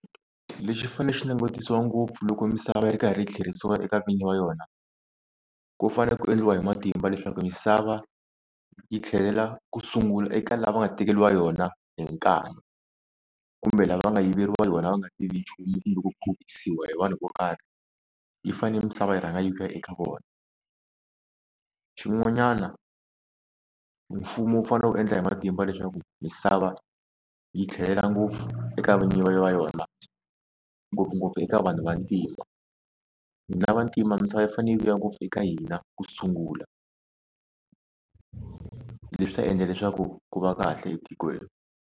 Lexi fane xi langutisiwa ngopfu loko misava yi ri karhi yi tlheriseriwa eka vini va yona, ku fane ku endliwa hi matimba leswaku misava yi tlhelela ku sungula eka lava va nga tekeriwa yona hi nkani, kumbe lava nga yiveriwa yona va nga tivi nchumu loko kumbe ku hi vanhu vo karhi yi fane misava yi rhanga yi vuya eka vona. Xin'wanyana mfumo wu fane wu endla hi matimba leswaku misava yi tlhelela ngopfu eka vinyi va yona, ngopfungopfu eka vanhu vantima. Hina vantima misava yi fane yi vuya ngopfu eka hina kusungula leswi ta endla leswaku ku va kahle etikweni.